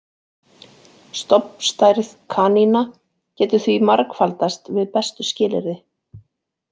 Stofnstærð kanína getur því margfaldast við bestu skilyrði.